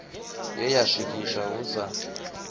ye ya swikiswa hu sa